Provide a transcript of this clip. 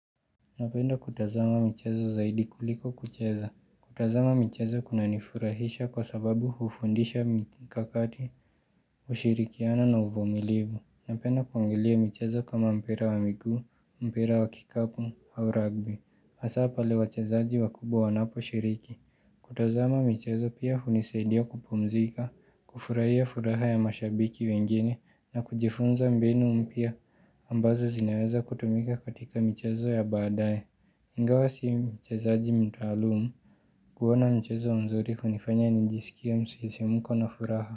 Napenda kutazama michezo zaidi kuliko kucheza. Kutazama michezo kuna nifurahisha kwa sababu hufundisha mikakati, ushirikiana na uvimilivu. Napenda kuangelia michezo kama mpira wa miguu, mpira wa kikapu au rugby. Asa pale wachezaji wa kubwa wanapo shiriki. Kutazama michezo pia hunisaidia kupumzika, kufurahia furaha ya mashabiki wengine na kujifunza mbinu mpya. Ambazo zinaweza kutumika katika michezo ya baadaye. Inga wa si mchezaaji mdraluum kuona mchezo mzuri hunifanya nijiskie ya msisimuko na furaha.